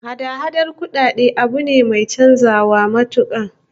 Hada-hadan kudade abu ne mai chanzawa matuka